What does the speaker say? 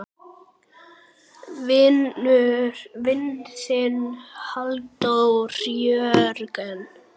Þinn vinur, Halldór Jörgen.